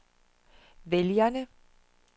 vælgerne